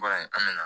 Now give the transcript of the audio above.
Ba in an bɛ na